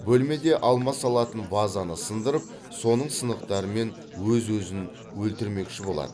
бөлмеде алма салатын вазаны сындырып соның сынықтарымен өз өзін өлтірмекші болады